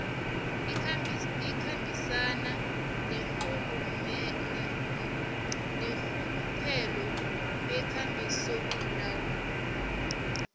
ikhambisana neenrhuluphelo nekambisolawulo